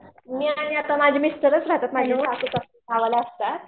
मी आणि आता माझे मिस्टरच रहातात माझ्या जवळ गावाला असतात.